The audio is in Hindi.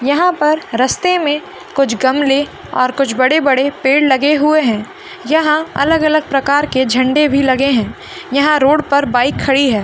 यहाँ पर रस्ते में कुछ गमले और कुछ बड़े-बड़े पेड़ लगे हुए हैं यहाँ अलग-अलग प्रकार के झंडे भी लगे हैं यहाँ रोड पर बाइक खड़ी है।